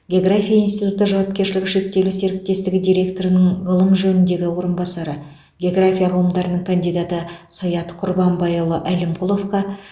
география институты жауапкершілігі шектеулі серіктестігі директорының ғылым жөніндегі орынбасары география ғылымдарының кандидаты саят құрбанбайұлы әлімқұловқа